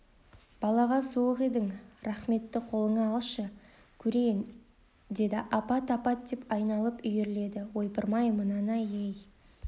балаға суық едің рахметті қолыңа алшы көрейін деді апат апат деп айналып үйіріледі ойпырмай мынаны-ай ей